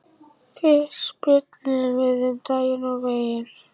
Fyrst spjölluðum við um daginn og veginn.